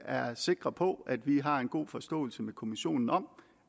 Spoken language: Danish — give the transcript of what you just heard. er sikre på at vi har en god forståelse med kommissionen om